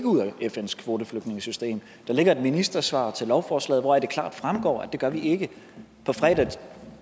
ud af fns kvoteflygtningesystem der ligger et ministersvar til lovforslaget hvoraf det klart fremgår at det gør vi ikke på fredag